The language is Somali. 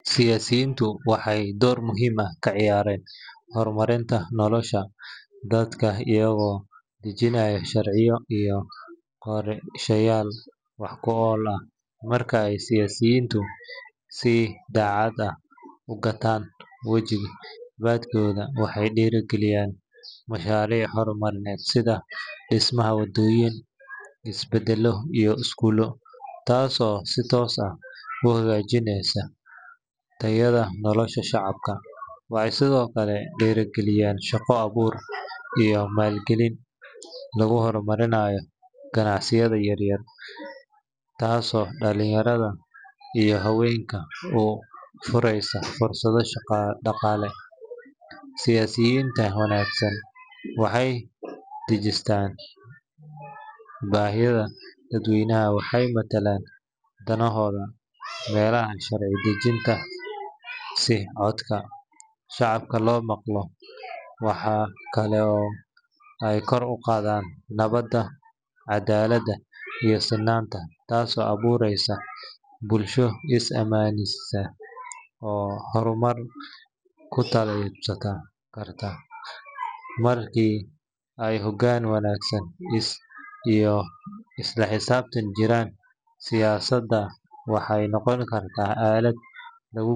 Siyaasiyiintu waxay door muhiim ah ka ciyaaraan horumarinta nolosha dadka iyagoo dejinaya sharciyo iyo qorshayaal wax ku ool ah. Marka ay siyaasiyiintu si daacad ah u gutaan waajibaadkooda, waxay hirgeliyaan mashaariic horumarineed sida dhismaha waddooyin, isbitaallo, iyo iskuullo, taasoo si toos ah u hagaajisa tayada nolosha shacabka. Waxay sidoo kale dhiirrigeliyaan shaqo abuur iyo maalgelin lagu horumarinayo ganacsiyada yaryar, taasoo dhalinyarada iyo haweenka u fureysa fursado dhaqaale. Siyaasiyiinta wanaagsan waxay dhegeystaan baahida dadweynaha waxayna matalaan danahooda meelaha sharci dejinta si codka shacabka loo maqlo. Waxa kale oo ay kor u qaadaan nabadda, cadaaladda, iyo sinnaanta, taasoo abuureysa bulsho is aaminaysa oo horumar ku tallaabsan karta. Markii ay hoggaan wanaag iyo isla xisaabtan jiraan, siyaasadda waxay noqon kartaa aalad lagu.